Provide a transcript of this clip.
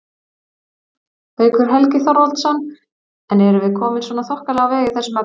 Haukur Helgi Þorvaldsson: En erum við komin svona þokkalega á veg í þessum efnum?